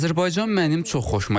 Azərbaycan mənim çox xoşuma gəldi.